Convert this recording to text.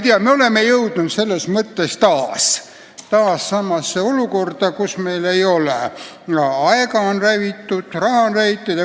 Eesti on selles mõttes taas üsna samasse olukorda jõudnud.